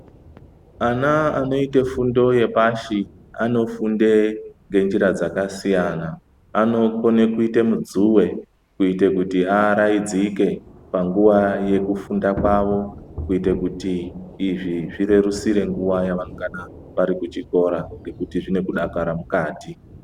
Ana anoite fundo yepashi anofunde ngenjira dzakasiyana, anokone kuite mudzuwe kuite kuti araidzike panguwa yekufunda kwawo kuite kuti izvi zvirerusire nguwa yavanonga vari kuchikora nekuti zvine kudakara mukati.